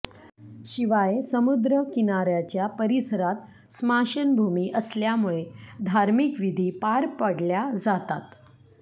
शिवाय समुद्र किनाऱ्याच्या परीसरात स्माशनभूमी असल्यामुळे धार्मिक विधी पार पडल्या जातात